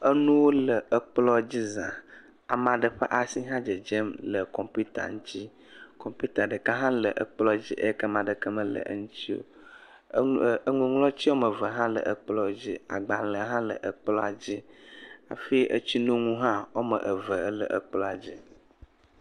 Enuwo le ekplɔ dzi za, ame aɖe ƒe asi hã dzedzem le kɔmpita dzi, kɔmpita ɖeka hã le ekplɔ dzi eyi ke ame aɖeke mele eŋuti o, enuŋlɔti woame eve hã le ekplɔ dzi agbalẽ hã le ekplɔa dzi hafi etsi nonu woame eve le ekplɔa dzi.